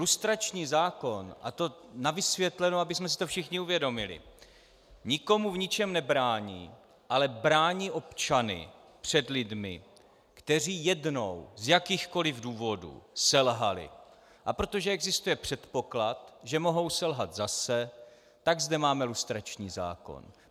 Lustrační zákon - a to na vysvětlenou, abychom si to všichni uvědomili - nikomu v ničem nebrání, ale brání občany před lidmi, kteří jednou z jakýchkoli důvodů selhali, a protože existuje předpoklad, že mohou selhat zase, tak zde máme lustrační zákon.